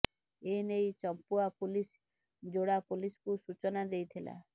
ଏ ନେଇ ଚମ୍ପୁଆ ପୁଲିସ ଯୋଡ଼ା ପୁଲିସକୁ ସୂଚନା ଦେଇଥିଲା